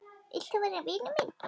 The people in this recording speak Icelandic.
Vilt þú vera vinur minn?